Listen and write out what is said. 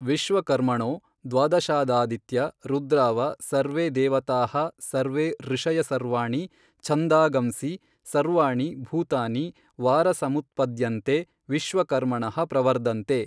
ವಿಶ್ವಕರ್ಮಣೊ ದ್ವಾದಶಾದಾದಿತ್ಯಾ ರುದ್ರಾವ ಸರ್ವೇ ದೇವತಾಃ ಸರ್ವೇ ಋಷಯಸರ್ವಾಣಿ ಛಂಧಾಗಂಸಿ ಸರ್ವಾಣಿ ಭೂತಾನಿ ವಾರಸಮುತ್ಪದ್ಯಂತೆ ವಿಶ್ವಕರ್ಮಣಃ ಪ್ರವರ್ದಂತೆ